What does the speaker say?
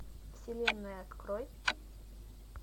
вселенная открой